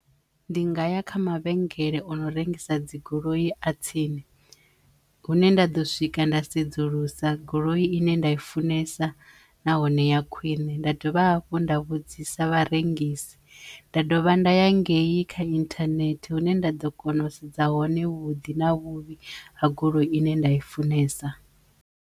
Ndi nga ya kha mavhengele o no rengisa dzi goloi a tsini hune nda ḓo swika nda sedzulusa goloi ine nda i funesa nahone ya khwine nda dovha hafhu nda vhudzisa vharengisi nda dovha nda ya ngei kha internet hune nda ḓo kona u sedza hone vhuḓi na vhuvhi ha goloi ine nda i funesa.